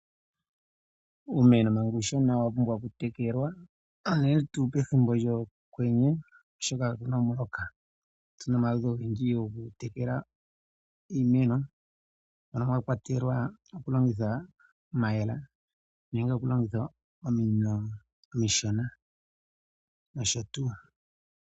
Uumeno Manga uushona owa pumbwa okutekelwa uunene tuu pethimbo lyokwenye oshoka ka pena omuloka opena omaludhi ogendji gokutekela iimeno noka mwakwatelwa okulongitha omayele nenge okulongitha ominino omishona n nosho tuu.